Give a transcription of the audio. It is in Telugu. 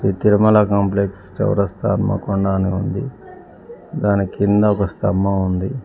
తిరుమల కాంప్లెక్స్ చౌరస్తా హనుమకొండ అని ఉంది దాని కింద ఒక స్తంభం ఉంది.